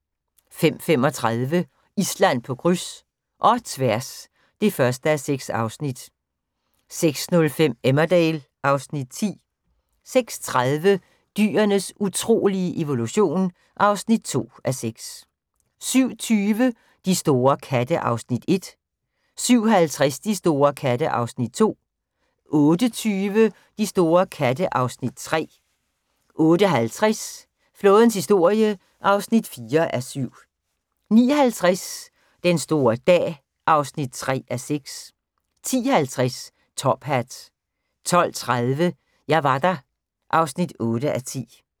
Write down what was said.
05:35: Island på kryds – og tværs (1:6) 06:05: Emmerdale (Afs. 10) 06:30: Dyrenes utrolige evolution (2:6) 07:20: De store katte (Afs. 1) 07:50: De store katte (Afs. 2) 08:20: De store katte (Afs. 3) 08:50: Flådens historie (4:7) 09:50: Den store dag (3:6) 10:50: Top Hat 12:30: Jeg var der (8:10)